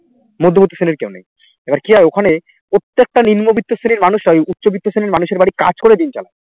মধ্যবর্তী শ্রেণীর কেউ নেই এবার কি হয় ওখানে প্রত্যেকটা নিম্ন বৃত্ত্ব শ্রেণীর মানুষরাই উচ্চ বৃত্ত্ব শ্রেণীর মানুষের বাড়ি কাজ করে দিন চালায়